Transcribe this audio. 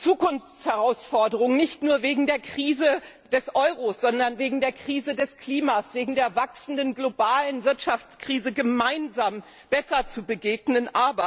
Zukunftsherausforderungen nicht nur wegen der Krise des Euros, sondern wegen der Krise des Klimas, wegen der wachsenden globalen Wirtschaftskrise gemeinsam besser zu begegnen.